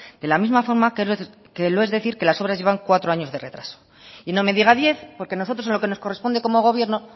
de la misma forma que lo es decir que las obras llevan cuatro años de retraso y no me diga diez porque nosotros lo que nos corresponde como gobierno